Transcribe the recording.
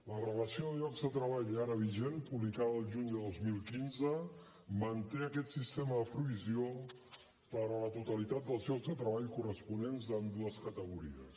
la relació de llocs de treball ara vigent publicada el juny de dos mil quinze manté aquest sistema de provisió per a la totalitat dels llocs de treball corresponents a ambdues categories